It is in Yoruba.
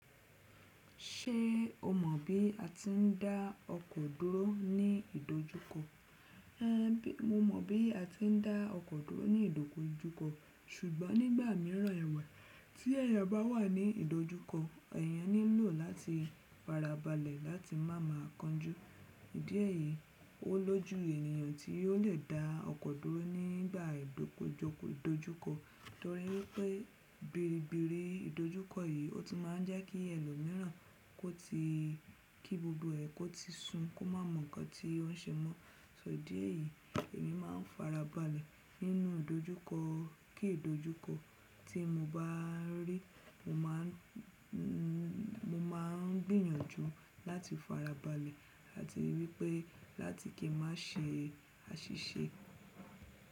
Ṣé o mọ̀ bí a ti ń dá ọkọ̀ dúró ní ìdojúkọ? Én, mo mọ̀ bí a ti ń dá ọkọ̀ dúró ní ìdojúkọ ṣùgbọ́n nígbà mìíràn ẹwe tí ẹ̀yàn bá wà ní ìdojúkọ, ẹ̀yàn nílò láti farabalẹ̀ láti má má kanjú. Ìdì eyi ó lójú ènìyàn tí ó lè dá ọkọ̀ dúró nígbà ìdojúkọ, torí wípé biribiri ìdojúkọ yìí ó ti máa ń jẹ́ kí ẹlòmíràn kó ti kí gbogbo ẹ̀ kó ti sun kó má mọ nǹkan tí ó ń ṣẹ mọ́. So idí ẹ̀yi èmi máa ń farabalẹ̀ nínú ìdojúkọ, kí ìdojúkọ tí mo bá rí mo máa ń gbìyànjú láti farabalẹ̀ láti rí pé láti kí a má ṣe àṣìṣe.